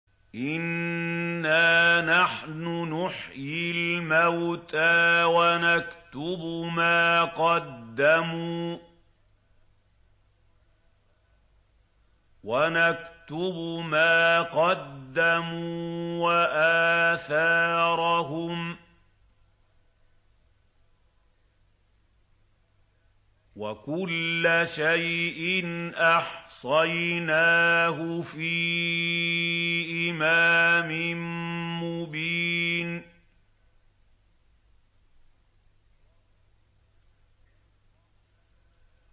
إِنَّا نَحْنُ نُحْيِي الْمَوْتَىٰ وَنَكْتُبُ مَا قَدَّمُوا وَآثَارَهُمْ ۚ وَكُلَّ شَيْءٍ أَحْصَيْنَاهُ فِي إِمَامٍ مُّبِينٍ